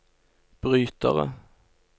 brytere